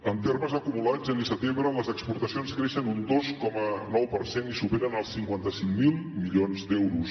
en termes acumulats gener setembre les exportacions creixen un dos coma nou per cent i superen els cinquanta cinc mil milions d’euros